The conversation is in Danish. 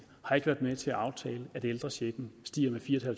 har været med til at aftale at ældrechecken stiger med fire